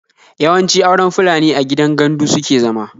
Yawanci auren Fulani a gidan gandu suke zama